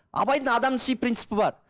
абайдың адамды сүю принципі бар